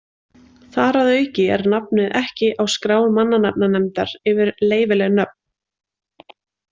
Þar að auki er nafnið ekki á skrá Mannanafnanefndar yfir leyfileg nöfn.